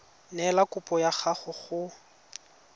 neela kopo ya gago go